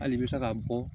Hali i bɛ se ka bɔ